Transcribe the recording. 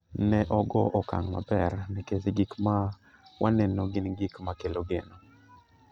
"Ne ogo okang' maber, nikech gik ma waneno gin gik ma kelo geno.